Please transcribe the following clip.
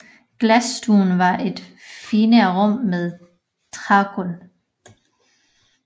Glasstuen var et finere rum med trægulv